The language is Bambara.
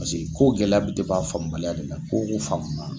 Paseke ko gɛlɛ bi a faamu baliya de la ko ko faamu na